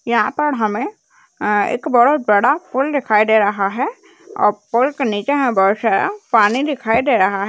यहाँ पर हमें अ-एक बहोत बड़ा पुल दिखाई दे रहा है अ-पुल के नीचे में बहोत सारा पानी दिखाई दे रहा है।